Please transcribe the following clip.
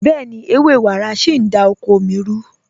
Bẹ̀ẹ̀ni, ẹwẹ́ wàrá sí n dá oko mí rù.